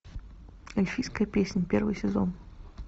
эльфийская песнь первый сезон